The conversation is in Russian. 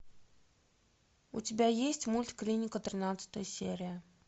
у тебя есть мульт клиника тринадцатая серия